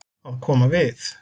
Að koma við